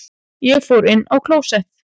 Ég fór inn á klósett.